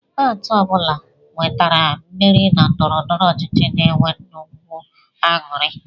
Pati ọ bụla nwetara mmeri na ndọrọndọrọ ọchịchị na-enwe nnukwu aṅụrị